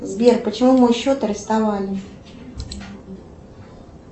сбер почему мой счет арестовали